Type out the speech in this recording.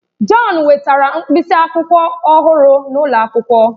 John wetara mkpịsị akwụkwọ ọhụrụ n'ụlọ akwụkwọ.